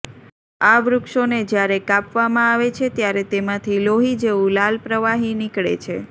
આ વૃક્ષોને જયારે કાપવામાં આવે છે ત્યારે તેમાંથી લોહી જેવું લાલ પ્રવાહી નીકળે છે